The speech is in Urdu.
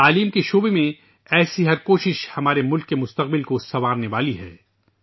تعلیم کے میدان میں اس طرح کی ہر کوشش ہمارے ملک کا مستقبل سنوارنے والی ہے